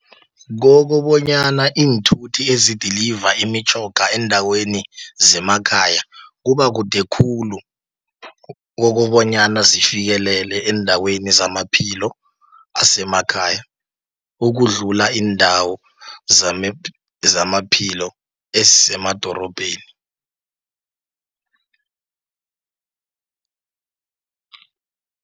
Kokobonyana iinthuthi ezidiliva imitjhoga eendaweni zemakhaya, kubakude khulu, kokobonyana zifikelele eendaweni zamaphilo asemakhaya, ukudlula iindawo zamaphilo esemadorobheni.